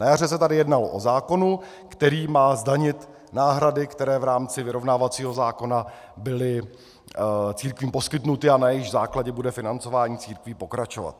Na jaře se tady jednalo o zákonu, který má zdanit náhrady, které v rámci vyrovnávacího zákona byly církvím poskytnuty a na jejichž základě bude financování církví pokračovat.